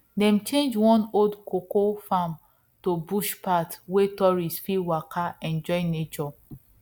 dem change one old cocoa farm to bush path wey tourists fit waka enjoy nature